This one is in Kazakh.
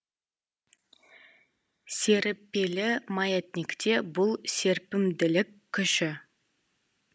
серіппелі маятникте бұл серпімділік күші